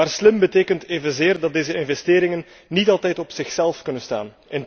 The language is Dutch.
Maar slim betekent evenzeer dat deze investeringen niet altijd op zichzelf kunnen staan.